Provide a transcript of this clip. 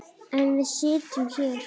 En við sitjum hér